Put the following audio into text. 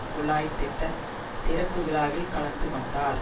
குழாய் திட்ட திறப்பு விழாவில் கலந்து கொண்டனர்